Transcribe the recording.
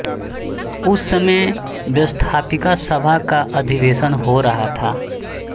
उस समय व्यवस्थापिका सभा का अधिवेशन हो रहा था